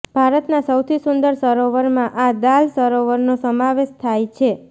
ભારતના સૌથી સુંદર સરોવરમાં આ દાલ સરોવરનો સમાવેશ થાય છે